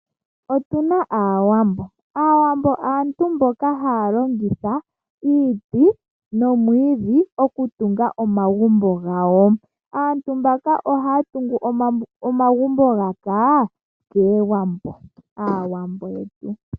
Otuna aawambo aantu mboka haya longitha iiti nomwiidhi oku tunga omagumbo gawo. Aantu mbaka ohaya tungu omagumbo gaka kaawambo, aawambo yetu.